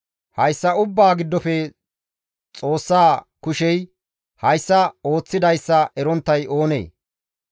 Hayssa ubbaa giddofe Xoossa kushey hayssa ooththidayssa eronttay oonee?